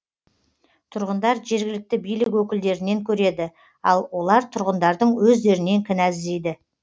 тұрғындар жергілікті билік өкілдерінен көреді ал олар тұрғындардың өздерінен кінә іздейді